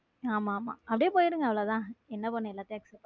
ஆமா ஆமா அப்படியே போயிருங்க அவ்வளவுதான் என்ன பண்ணனும் எல்லாத்தையும் accept பண்ணி.